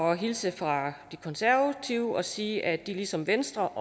at hilse fra de konservative og sige at de ligesom venstre